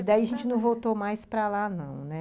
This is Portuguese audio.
E daí a gente não voltou mais para lá, não, né?